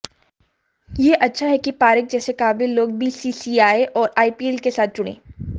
यह अच्छा है कि पारेख जैसे काबिल होग बीसीसीआई और आईपीएल के साथ जुड़ें